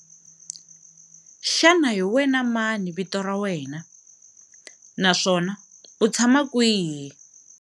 Xana hi wena mani vito ra wena naswona u tshama kwihi?